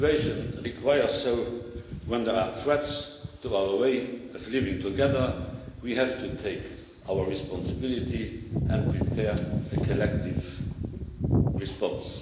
the situation requires so, when there are threats to our ways of living together, we have to take responsibility and prepare a collective response.